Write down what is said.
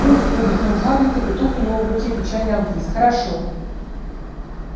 уф выдохнул хагрид и петух у него в руке печально обвис хорошо